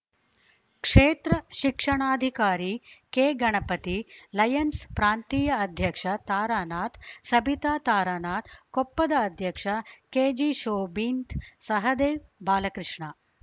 ಕ್ಷೇತ್ರ ಶಿಕ್ಷಣಾಧಿಕಾರಿ ಕೆಗಣಪತಿ ಲಯನ್ಸ್ ಪ್ರಾಂತೀಯ ಅಧ್ಯಕ್ಷ ತಾರಾನಾಥ್‌ ಸಬಿತಾ ತಾರಾನಾಥ್‌ ಕೊಪ್ಪದ ಅಧ್ಯಕ್ಷ ಕೆಜಿ ಶೋಭಿಂತ್‌ ಸಹದೇವ್‌ ಬಾಲಕೃಷ್ಣ